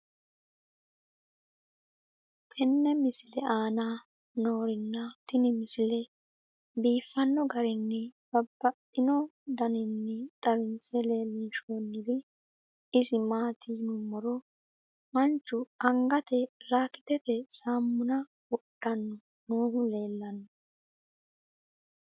tenne misile aana noorina tini misile biiffanno garinni babaxxinno daniinni xawisse leelishanori isi maati yinummoro manchu angatte lakitete saamunna wodhanno noohu leelanno.